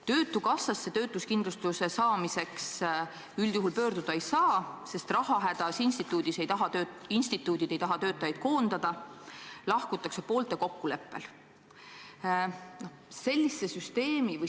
Töötukassasse töötuskindlustuse saamiseks üldjuhul pöörduda ei saa, sest rahahädas instituudid ei taha töötajaid koondada, lahkutakse poolte kokkuleppel.